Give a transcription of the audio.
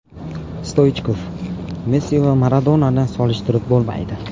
Stoichkov: Messi va Maradonani solishtirib bo‘lmaydi.